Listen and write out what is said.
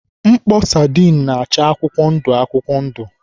Mkpọ sadin na-acha akwụkwọ ndụ akwụkwọ ndụ.